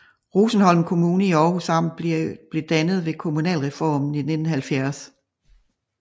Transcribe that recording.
Rosenholm Kommune i Århus Amt blev dannet ved kommunalreformen i 1970